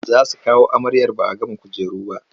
Za su kawo amaryar ba a gama kujeru ba.